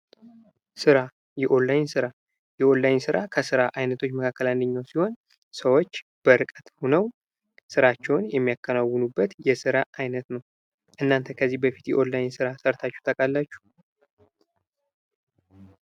ስራ:-የኦንላይን ስራ:-የኦንላይን ስራ ከስራ አይነቶች መካከል አንዱ ሲሆን ሰዎች በርቀት ሁነው ስራቸውን የሚያከናውኑበት የስራ አይነት ነው። እናንተ ከዚህ በፊት የኦንላይን ስራ ሰርታችሁ ታውቃላችሁ?